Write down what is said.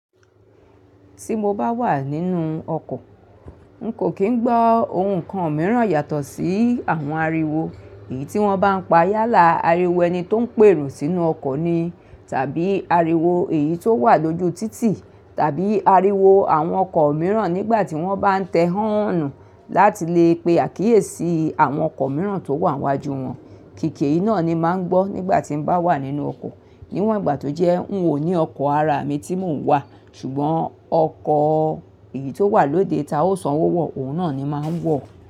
Tí mo bá wà nínú ọkọ̀, n kò kín gbọ́ ohun kan mìíràn yàtọ̀ sí àwọn ariwo èyí tí wọ́n bá ń pa yálà, ariwo ẹni tó ń pèrò sínú ọkọ̀ ni, tàbí ariwo èyí tó wà lójú títì, tàbí ariwo àwọn ọkọ̀ mìíràn nígbà tí wọ́n bá ń tẹ háánù láti lè pe àkíyèsí àwọn ọkọ̀ mìíràn tó wà n iwájú wọn. Kìkì eyi iná ni máa ń gbọ́ nígbà tín bá wà nínú ọkọ̀. Níwọ̀n ìgbà tó jẹ́ n ò ní ọkọ̀ ara mi tí mò ń wà, ṣùgbọ́n ọkọ̀ èyí tó wà lóde ta ó sanwó wọ, òun náà ni máa ń wọ̀